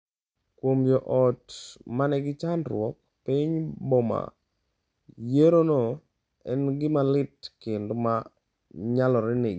Kuom joot ma nigi chandruok e piny Burma, yierono en gima lit kendo ma nyalore negi.